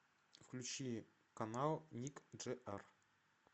включи канал ник джи ар